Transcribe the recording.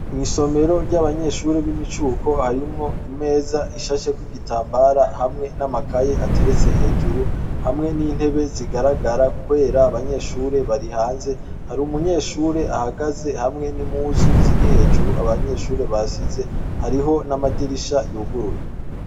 Isomero ryabanyeshure bimicuko harimwo imeza isasheko igitambara hamwe n'amakaye hamwe n'intebe zigaragara kubera abanyeshure barihanze hari umunyshure ahagaze hamwe n'impuzu ziri hejuru abanyeshure basize hariho n'amadirisha yuguruye.